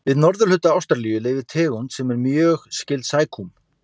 Við norðurhluta Ástralíu lifir tegund sem er mjög skyld sækúm.